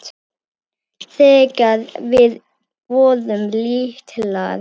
Þegar við vorum litlar.